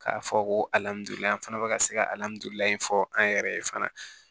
K'a fɔ ko alihamudulilayi an fana bɛ ka se kalimamu in fɔ an yɛrɛ ye fana